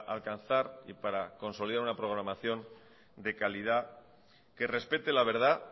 alcanzar y para consolidar una programación de calidad que respete la verdad